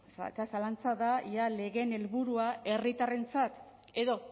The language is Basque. eta zalantza da ea legeen helburua herritarrentzat edo